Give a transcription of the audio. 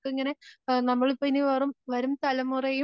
അവർക്കിങ്ങനെ നമ്മള് ഇപ്പം ഇനി വരും തലമുറയും